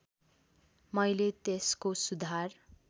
मैले त्यसको सुधार